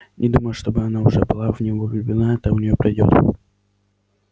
не думаю чтобы она уже была в него влюблена это у нее пройдёт